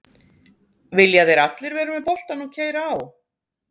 Vilja þeir allir vera með boltann og keyra á?